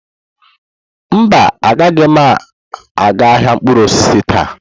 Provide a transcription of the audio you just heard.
Mba, agaghị m aga ahịa mkpụrụ osisi taa.